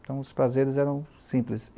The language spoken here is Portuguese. Então, os prazeres eram simples.